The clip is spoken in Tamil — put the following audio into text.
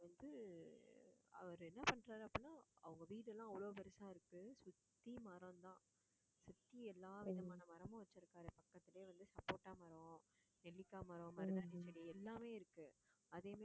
அவரு என்ன பண்றாரு அப்படின்னா அவங்க வீடு எல்லாம் அவ்வளவு பெருசா இருக்கு சுத்தி மரம்தான் சுத்தி எல்லாவிதமான மரமும் வச்சிருக்காரு. பக்கத்துலயே வந்து சப்போட்டா மரம் நெல்லிக்காய் மரம், மருதாணி செடி, எல்லாமே இருக்கு அதே மாதிரி